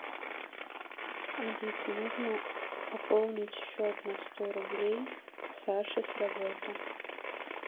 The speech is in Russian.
алиса нужно пополнить счет на сто рублей саше с работы